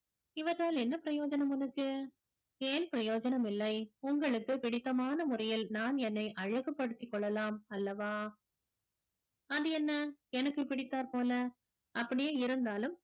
இவற்றால் என்ன பிரயோஜனம் உனக்கு ஏன் பிரயோஜனம் இல்லை உங்களுக்கு பிடித்தமான முறையில் நான் என்னை அழகுபடுத்திக் கொள்ளலாம் அல்லவா அது என்ன எனக்கு பிடித்தார் போல அப்படியே இருந்தாலும்